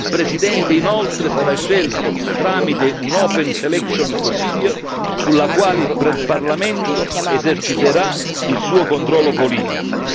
Il presidente inoltre sarà scelto tramite una open selection procedure sulla quale il Parlamento eserciterà il suo controllo politico.